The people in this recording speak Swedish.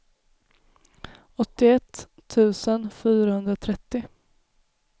åttioett tusen fyrahundratrettio